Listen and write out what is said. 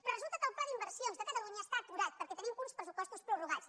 però resulta que el pla d’inversions de catalunya està aturat perquè tenim uns pressupostos prorrogats